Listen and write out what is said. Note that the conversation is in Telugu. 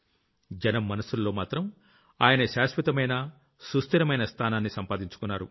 జనం మనసుల్లో మాత్రం ఆయన శాశ్వతమైన సుస్థిరమైన స్థానాన్ని సంపాదించుకున్నారు